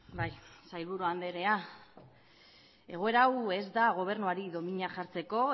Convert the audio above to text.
bai sailburu andrea egoera hau ez da gobernuari dominak jartzeko